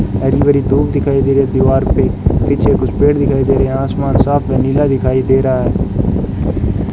धूप दिखाई दे रही है दीवार पे पीछे कुछ पेड़ दिखाई दे रहे आसमान साफ है नीला दिखाई दे रहा है।